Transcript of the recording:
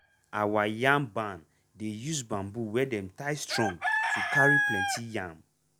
our yam barn dey use bamboo wey dem tie strong to carry plenty yam.